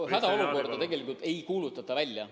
No hädaolukorda tegelikult ei kuulutata välja.